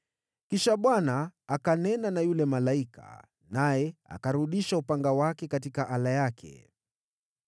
Kisha Bwana akanena na yule malaika, naye akarudisha upanga wake katika ala yake.